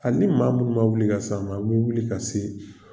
Ali ni maa minnu ma wuli ka s'an ma an bɛ wuli ka se